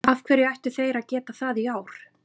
Af hverju ættu þeir að geta það í ár?